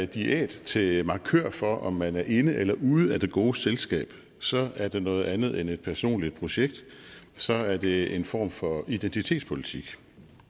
diæt til en markør for om man er inde eller ude af det gode selskab så er det noget andet end et personligt projekt så er det en form for identitetspolitik